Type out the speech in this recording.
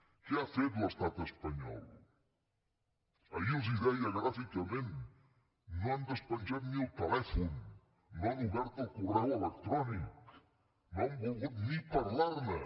què ha fet l’estat espanyol ahir els ho deia gràficament no han despenjat ni el telèfon no han obert el correu electrònic no han volgut ni parlarne